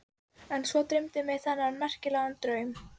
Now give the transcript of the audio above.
En svo dreymdi mig þennan merkilega draum.